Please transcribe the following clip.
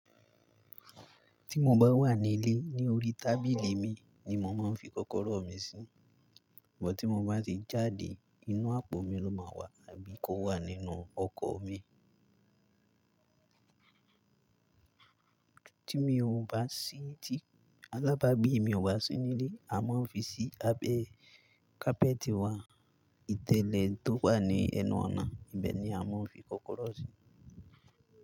Tí mo bá wà nílé, ní orí tábìlì mi ni mo máa ń fi kọ́kọ́rọ́ mi sí. Bọ̀ tí mo bá ti jáde, inú àpò mi ló máa wà àbí kówà nínú ọkọ̀ mi. Tí mi ò bá sí ti-- alábàágbé mi ò bá sí nílé, a máa ń fi sí abẹ́ kápẹ́tì wa. Ìtẹ́lẹ̀ tó wà ní ẹnu ọ̀nà, ibẹ̀ ni a máa ń fi kọ́kọ́rọ́ sí.